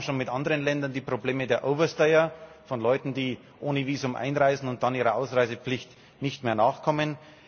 Wir haben schon mit anderen Ländern die Probleme der Overstayer Leute, die ohne Visum einreisen und dann ihrer Ausreisepflicht nicht mehr nachkommen.